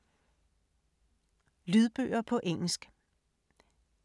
Lydbøger på engelsk